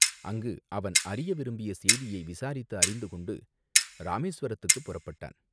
அங்கு அவன் அறிய விரும்பிய செய்தியை விசாரித்து அறிந்து கொண்டு இராமேசுவரத்துக்குப் புறப்பட்டான்.